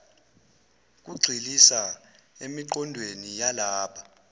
kugxilisa emiqondweni yalaba